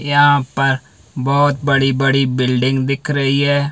यहां पर बहोत बड़ी बड़ी बिल्डिंग दिख रही है।